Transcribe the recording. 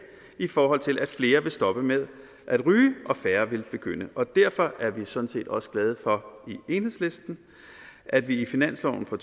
i forhold til at flere vil stoppe med at ryge og færre vil begynde derfor er vi sådan set også glade for i enhedslisten at vi i finansloven for